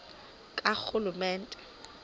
karhulumente